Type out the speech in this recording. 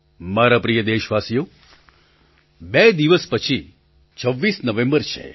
મારા પ્રિય દેશવાસીઓ બે દિવસ પછી ૨૬ નવેમ્બર છે